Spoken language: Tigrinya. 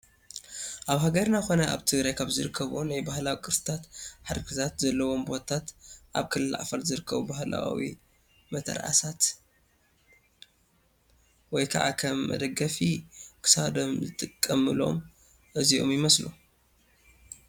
ኣብ ሃገርና ኮነ ኣብ ትግራይ ካብ ዝርከቡ ናይ ባህላዊ ቅርስታትን ሓድግታን ዘለዎም ቦታት ኣብ ክልል ዓፋር ዝርከቡ ባህላዊ መተርኣሳት ወይ ከዓ ከም መደገፊ ክሳዶም ዝጥቀምሎም እዚኦም ይመስሉ፡፡